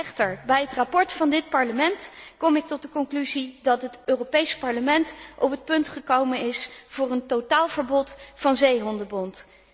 Echter, bij het verslag van dit Parlement kom ik tot de conclusie dat het Europees Parlement op het punt is gekomen van een totaalverbod van zeehondenbont.